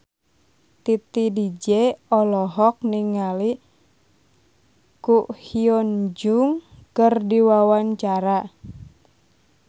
Titi DJ olohok ningali Ko Hyun Jung keur diwawancara